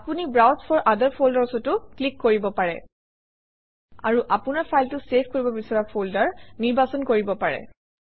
আপুনি browse for other folders অতো click কৰিব পাৰে আৰু আপোনৰ ফাইলটো চেভ কৰিব বিচৰা ফল্ডাৰ নিৰ্বাচন কৰিব পাৰে